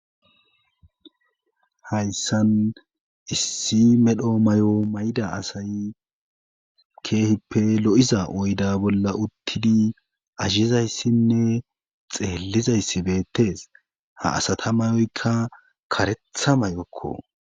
hayssan issi medho may7o mayda asay keehippe lo7iza oyda bolla uttidi azshizayssinne xeellizayssi beettes ha asata mayoyka karetha may7okko